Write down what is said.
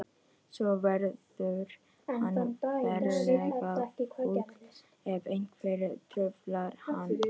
Svo verður hann ferlega fúll ef einhver truflar hann.